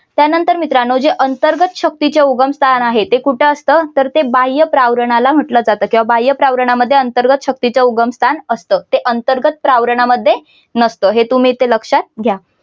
त्यानंतर मित्रांनो जे अंतर्गत शक्तीचे उगमस्थान आहे ते कुठे असतं तर ते बाह्य प्रावरणाला म्हटलं जातं किंवा बाह्य प्रावरणामध्ये अंतर्गत शक्तीचे उगम स्थान असतं ते अंतर्गत प्रावरणामध्ये नसतं. हे तुम्ही इथे लक्षात घ्या.